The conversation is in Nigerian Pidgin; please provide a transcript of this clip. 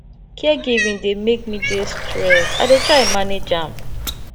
caregiving dey make me dey stressed i dey try manage am